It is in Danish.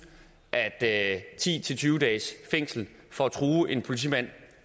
at ti til tyve dages fængsel for at true en politimand